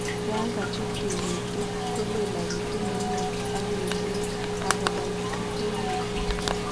Yan kachu tigitik kolelagitun neunek ak kelyek akogaititegitun